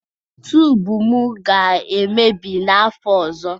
tubu m ga-emebi n'afọ ọzọ